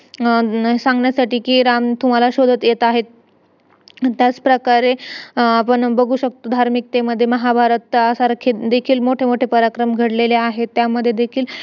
त्यासाठी आम्हाला असं सांगत होते आम्हाला